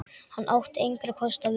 Hann átti engra kosta völ.